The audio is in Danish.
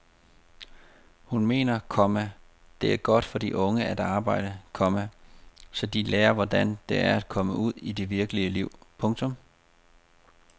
Hun mener, komma det er godt for de unge at arbejde, komma så de lærer hvordan det er at komme ud i det virkelige liv. punktum